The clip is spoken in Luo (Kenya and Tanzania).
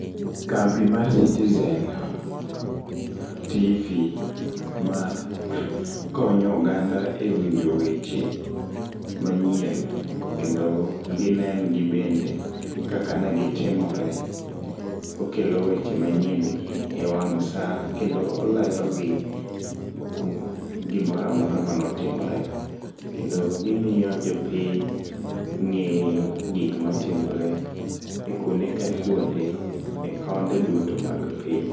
Kambi mar citizen tv makonyo oganda e winjo weche manyien kendo ginendgi bende kaka negitimore, okelo weche manyien e wang' saa kendo olerogi gimora amora manotimore, kendo gimiyo jopiny ng'eyo gikma timore e kuonde kakuonde, e konde duto mag piny.